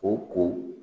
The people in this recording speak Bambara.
O ko